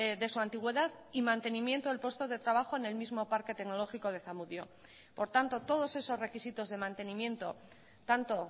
de su antigüedad y mantenimiento del puesto de trabajo en el mismo parque tecnológico de zamudio por tanto todos esos requisitos de mantenimiento tanto